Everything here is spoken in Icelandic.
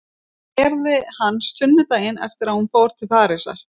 Og það gerði hann sunnudaginn eftir að hún fór til Parísar.